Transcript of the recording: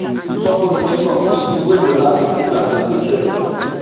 you suppose tink of tins wey go last even as dem dey trend